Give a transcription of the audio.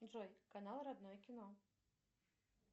джой канал родное кино